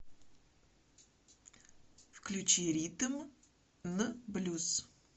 включи ритм н блюз